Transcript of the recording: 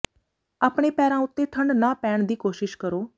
ਆਪਣੇ ਪੈਰਾਂ ਉੱਤੇ ਠੰਢ ਨਾ ਪੈਣ ਦੀ ਕੋਸ਼ਿਸ਼ ਕਰੋ